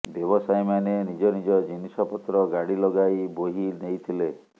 ବ୍ୟବସାୟୀମାନେ ନିଜ ନିଜ ଜିନିଷପତ୍ର ଗାଡ଼ି ଲଗାଇ ବୋହି ନେଇଥିଲେ